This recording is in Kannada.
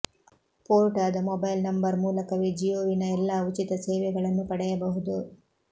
ಪೋರ್ಟ್ ಆದ ಮೊಬೈಲ್ ನಂಬರ್ ಮೂಲಕವೇ ಜಿಯೋವಿನ ಎಲ್ಲಾ ಉಚಿತ ಸೇವೆಗಳನ್ನು ಪಡೆಯಬಹುದು